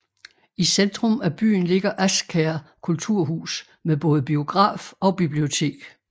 I centrum af byen ligger Asker Kulturhus med både biograf og bibliotek